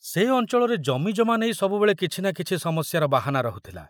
ସେ ଅଞ୍ଚଳରେ ଜମିଜମା ନେଇ ସବୁବେଳେ କିଛି ନା କିଛି ସମସ୍ୟାର ବାହାନା ରହୁଥିଲା।